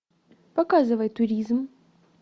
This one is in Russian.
показывай туризм